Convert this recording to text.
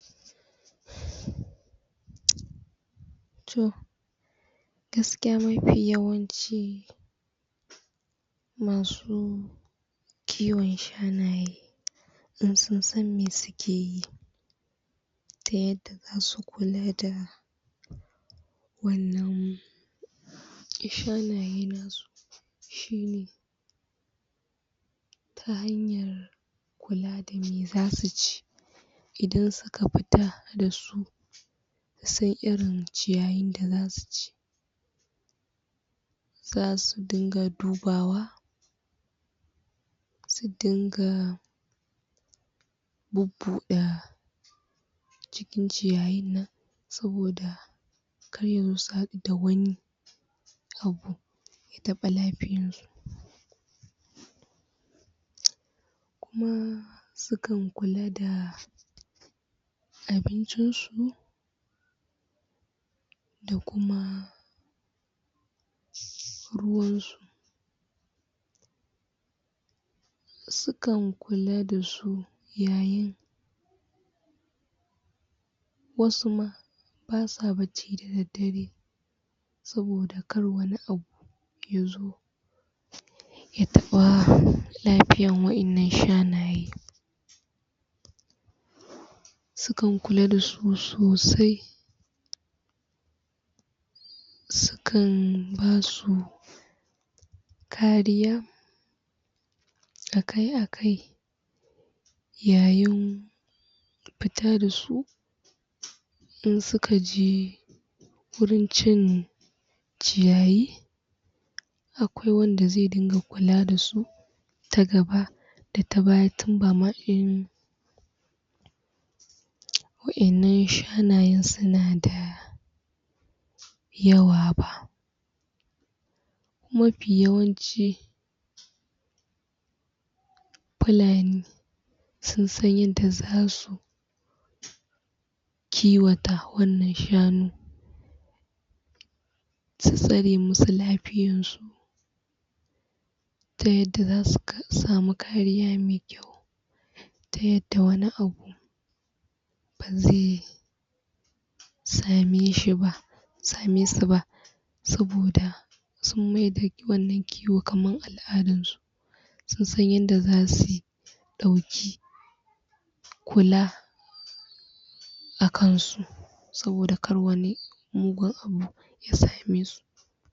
Toh gaskiya mafi yawanci masu kiwon shanaye in sun san me sukeyi ta yadda zasu kulada wannan shanayenbnan shine ta hanyar kulada me zasuci idan suka fita dasu su san irin ciyayin da zasuci zasu dinga dubawa su dinga bubbuda cikin ciyayin nan saboda karya musu adda wani abu ya taba lafiyarsu kuma sukan kulada abincin su da kuma ruwansu sukan kula dasu yayin wasu ma basa bacci dadaddare saboda kar wani abu yazo ya taba lafiyan wayannan shanaye sukan kula dasu sosai sukan basu kariya akai akai yayin fita dasu insuka je wurin cin ciyayi akwai wanda ze dinga kula dasu ta gaba da ta baya tun wa’ayan nan shanayen sunada yawaba mafi yawanci fulani sun san yadda zasu kiwata wannan shanu su tsare musu lafiyarsu ta yadda zasu samu kariya me kyau ta yadda wani abu baze sameshiba samesuba saboda sun maida wannan kiwon kamar al'adarsu sun san yadda zasuyi ta wuce kula akansu saboda kar wani mugun abu ya samesu